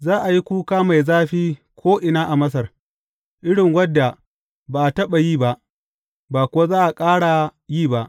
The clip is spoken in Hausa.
Za a yi kuka mai zafi ko’ina a Masar, irin wadda ba a taɓa yi ba, ba kuwa za a ƙara yi ba.